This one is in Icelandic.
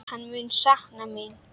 Hann mun sakna mín.